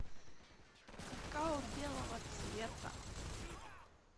какао белого цвета